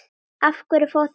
Af hverju fór þetta svona?